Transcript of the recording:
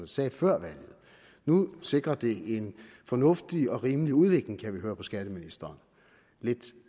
sagde før valget nu sikrer det en fornuftig og rimelig udvikling kan vi høre på skatteministeren lidt